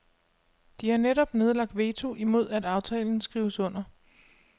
De har netop nedlagt veto imod at aftalen skrives under.